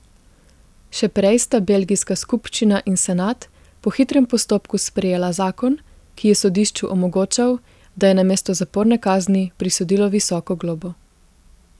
Še prej sta belgijska skupščina in senat po hitrem postopku sprejela zakon, ki je sodišču omogočal, da je namesto zaporne kazni prisodilo visoko globo.